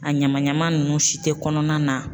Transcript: A ɲama ɲama nunnu si tɛ kɔnɔna na.